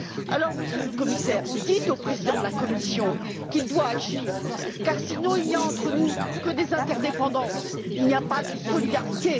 Alors, Monsieur le Commissaire, dites au président de la Commission qu'il doit agir car, sinon, il n'y a entre nous que des interdépendances, il n'y a pas de solidarité.